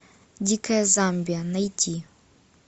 дикая замбия найти